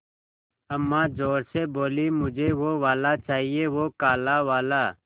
अम्मा ज़ोर से बोलीं मुझे वो वाला चाहिए वो काला वाला